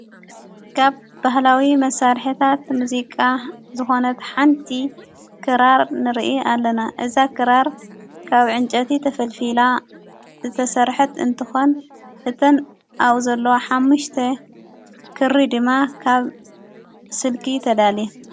ካብ ባህላዊ መሣርሕታት ሙዚቃ ዝኾነት ሓንቲ ክራር ንርኢ ኣለና። እዛ ክራር ካብ ዕንጨቲ ተፈልፊላ ዝተሠርሐት እንተኾን፤ እተን ኣኡ ዘሎ ሓሙሽተ ክሪ ድማ ካብ ስልኪ ተዳልየን።